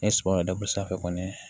N ye sɔ da bɔ sanfɛ kɔni